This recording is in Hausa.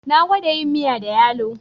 Na gwada yin miya da yalo